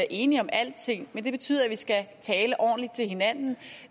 enige om alting men det betyder at vi skal tale ordentligt til hinanden